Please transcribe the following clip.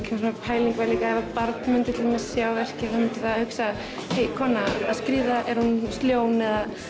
ein pæling var líka að ef barn myndi til dæmis sjá verkið myndi það hugsa hey kona að skríða er hún ljón